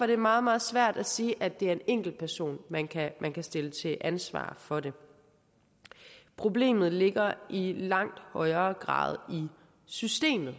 det meget meget svært at sige at det er en enkeltperson man kan man kan stille til ansvar for det problemet ligger i langt højere grad i systemet